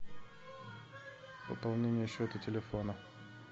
пополнение счета телефона